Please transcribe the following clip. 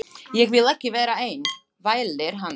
Ég vil ekki vera einn, vælir hann.